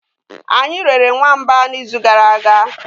anyi rere nwamba n'izu gara aga.